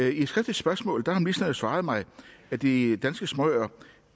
i et skriftligt spørgsmål har ministeren jo svaret mig at de danske småøer